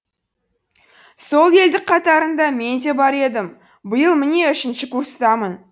сол елдік қатарында мен де бар едім биыл міне үшінші курстамын